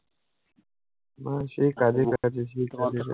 না সেই কাজই কাজই। সেই কাজই কাজই